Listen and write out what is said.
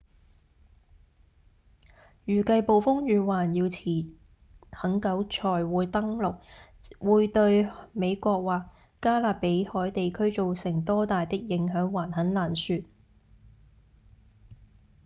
預計暴風雨還要很久才會登陸會對美國或加勒比海地區造成多大的影響還很難說